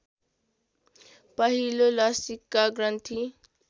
पहिलो लसीका ग्रन्थि